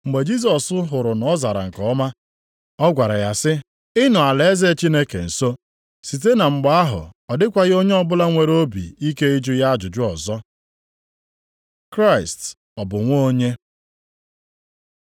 Mgbe Jisọs hụrụ na ọ zara nke ọma, ọ gwara ya sị, “Ị nọ alaeze Chineke nso.” Site na mgbe ahụ ọ dịkwaghị onye ọbụla nwere obi ike ịjụ ya ajụjụ ọzọ. Kraịst ọ bụ nwa onye?